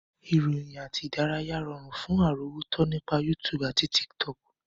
Ìròyìn àti ìdárayá rọrùn fún àrọ́wọ́tọ́ nípa YouTube àti Tiktok